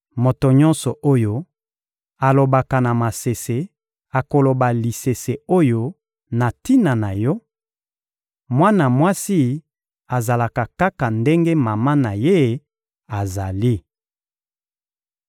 Moto nyonso oyo alobaka na masese akoloba lisese oyo na tina na yo: ‘Mwana mwasi azalaka kaka ndenge mama na ye azali.’